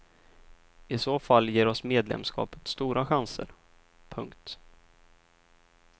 I så fall ger oss medlemskapet stora chanser. punkt